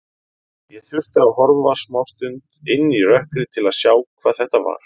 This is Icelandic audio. Ég þurfti að horfa smástund inn í rökkrið til að sjá hvað þetta var.